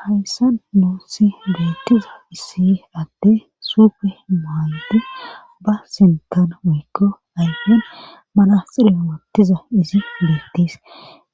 hayssan nuussi beettiza issi adde suupe maayddu ba sintan wiikko ayfon manaxire woottiza izi beettis